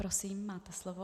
Prosím, máte slovo.